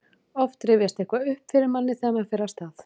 oft rifjast eitthvað upp fyrir manni þegar maður fer af stað